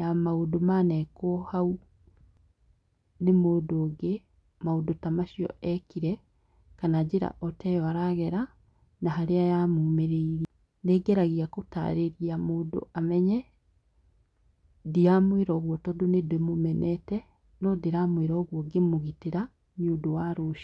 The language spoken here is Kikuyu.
ya maũndũ manekwo na hau nĩ mũndũ ũngĩ maũndũ ta macio ekire kana njĩra oteyo aragera na harĩa ya mũmĩrĩirie, nĩngeragia gũtarĩrĩa mũndũ amenye ndiramwĩra ũguo tondũ nĩndĩmũmenete no ndĩramwĩra ũguo ngĩmũgĩtĩra nĩũndũ wa rũciũ.